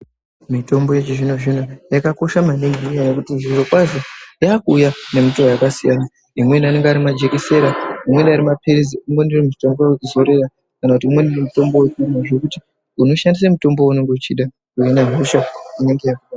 Mitombo yechizvino zvino yakakosha maningi ngekuti zvirokwazvo yakuuya nemitowo yakasiyana. Imweni inouya ari majekisera imweni inouya ari mapilizi kana imweni mitombo yekumwa zvekuti unoshandisa mutombo weunenge uchida kuhina hosha.